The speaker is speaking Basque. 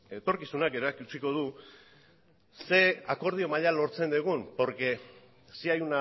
zer akordio maila lortzen dugun porque sí hay